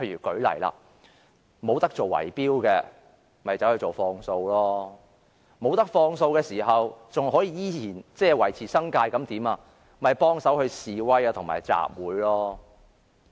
舉例說，不能做圍標的，便轉而做放數；不能放數的，但又依然要維持生計的，便幫忙去示威和集會。